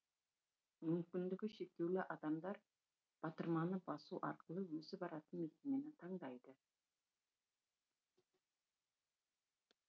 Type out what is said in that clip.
мүмкіндігі шектеулі адамдар батырманы басу арқылы өзі баратын мекемені таңдайды